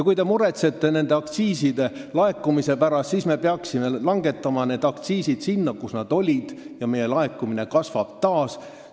Kui te muretsete aktsiiside laekumise pärast, siis me peaksime langetama aktsiisimäärad sinna, kus nad olid, ja meie laekumine kasvab taas.